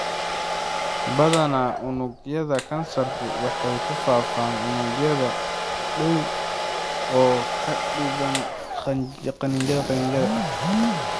Badana unugyada kansarku waxay ku faafaan unugyada u dhow ka dibna qanjidhada qanjidhada.